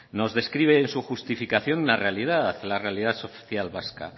nos describe en su justificación una realidad la realidad social vasca